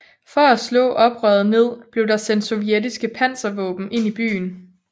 For at slå oprøret ned blev der sendt sovjetiske panservåben ind i byen